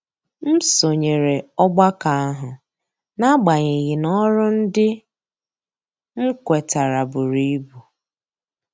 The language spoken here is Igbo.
M sonyere ọgbakọ ahụ n'agbanyeghị na ọrụ ndị m kwetara buru ibu.